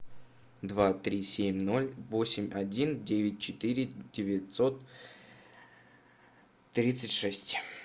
два три семь ноль восемь один девять четыре девятьсот тридцать шесть